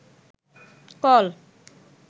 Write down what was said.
call